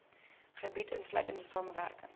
gebiede insluitende samewerking